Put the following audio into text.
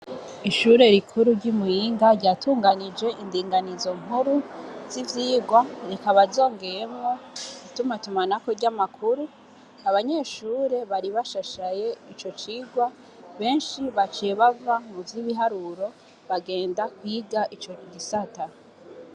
Ishure rikuru ry'imuyinga ryatunganije indinganizo nkuru z'ivyigwa, bikaba vyogemwo itumatumanako ry'amakuru. Abanyeshure bari bashashaye ico cigwa, benshi baciye bava muvy'ibiharuro bagenda kwiga ico gisata.